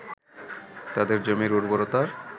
তাদের জমির উর্বরতার